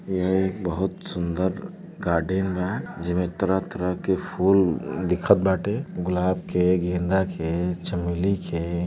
यह एक बहुत सुन्दर गार्डन बा जेमे तरह तरह के फुल दिखत बाटे गुलाब के गेंदा के चमेली के।